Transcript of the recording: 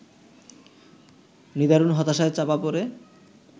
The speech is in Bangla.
নিদারুণ হতাশায় চাপা পড়ে